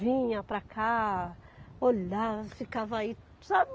Vinha para cá, olhava, ficava aí, sabe?